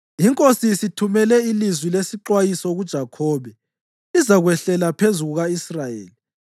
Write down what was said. INkosi isithumele ilizwi lesixwayiso kuJakhobe lizakwehlela phezu kuka-Israyeli.